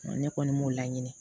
Ne kɔni m'o laɲini